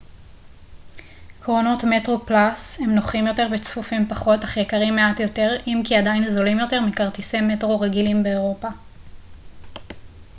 קרונות metroplus הם נוחים יותר וצפופים פחות אך יקרים מעט יותר אם כי עדיין זולים יותר מכרטיסי מטרו רגילים באירופה